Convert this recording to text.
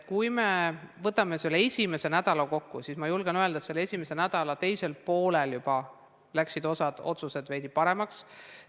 Kui me võtame selle esimese nädala kokku, siis ma võin öelda, et selle esimese nädala teisel poolel juba läksid otsused veidi paremaks.